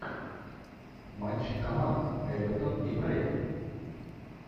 матч команд эвертон и брайтон